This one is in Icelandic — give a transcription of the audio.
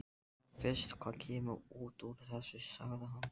Sjáum fyrst hvað kemur út úr þessu, sagði hann.